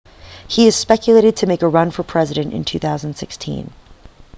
he is speculated to make a run for president in 2016